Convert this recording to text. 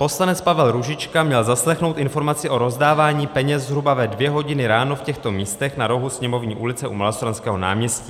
Poslanec Pavel Růžička měl zaslechnout informaci o rozdávání peněz zhruba ve 2 hodiny ráno v těchto místech na rohu Sněmovní ulice u Malostranského náměstí.